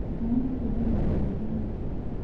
Maĩ mateĩthagĩa kũyĩhĩa ũrĩtũ